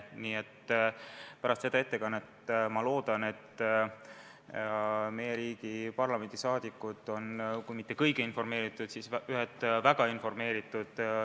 Loodan, et pärast seda ettekannet on meie riigi parlamendiliikmed sellel teemal kui mitte kõige informeeritumad, siis lihtsalt väga informeeritud.